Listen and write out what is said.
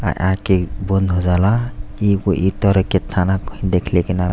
आ आ के बंद हो जाला। एगो ई तरह के थाना कहीं देखले के ना रह --